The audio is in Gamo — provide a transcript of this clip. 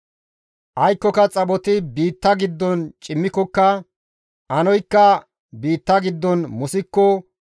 Aykkoka xaphoti biitta giddon cimmikokka, anoykka biitta giddon musikko,